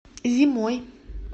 зимой